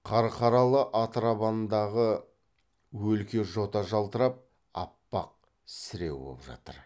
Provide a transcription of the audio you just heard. қарқаралы атырабандағы өлке жота жалтырап аппақ сіреу боп жатыр